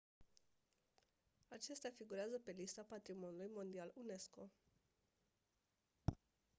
acestea figurează pe lista patrimoniului mondial unesco